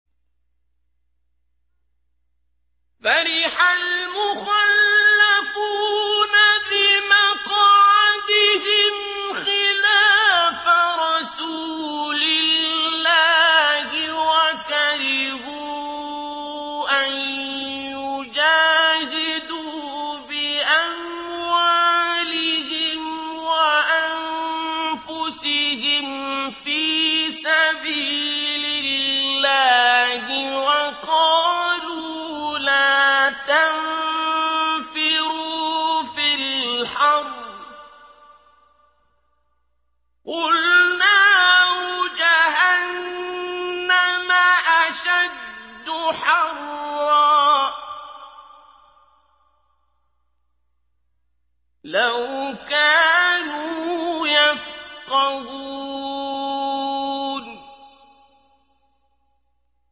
فَرِحَ الْمُخَلَّفُونَ بِمَقْعَدِهِمْ خِلَافَ رَسُولِ اللَّهِ وَكَرِهُوا أَن يُجَاهِدُوا بِأَمْوَالِهِمْ وَأَنفُسِهِمْ فِي سَبِيلِ اللَّهِ وَقَالُوا لَا تَنفِرُوا فِي الْحَرِّ ۗ قُلْ نَارُ جَهَنَّمَ أَشَدُّ حَرًّا ۚ لَّوْ كَانُوا يَفْقَهُونَ